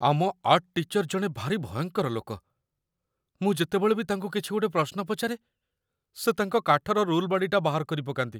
ଆମ art teacher ଜଣେ ଭାରି ଭୟଙ୍କର ଲୋକ । ମୁଁ ଯେତେବେଳେ ବି ତାଙ୍କୁ କିଛି ଗୋଟେ ପ୍ରଶ୍ନ ପଚାରେ, ସେ ତାଙ୍କ କାଠର ରୁଲ୍‌ବାଡ଼ିଟା ବାହାର କରିପକାନ୍ତି ।